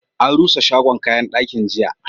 An rusa shagon kayan dakin, jiya.